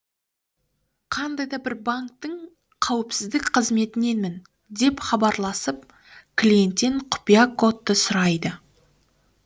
қандай да бір банктің қауіпсіздік қызметіненмін деп хабарласып клиенттен құпия кодты сұрайды